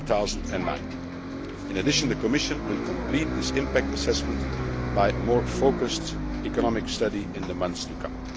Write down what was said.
2009. In addition, the Commission will complete this impact assessment with a more focused economic study in the months to come.